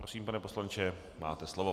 Prosím, pane poslanče, máte slovo.